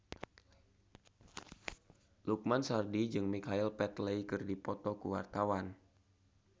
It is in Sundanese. Lukman Sardi jeung Michael Flatley keur dipoto ku wartawan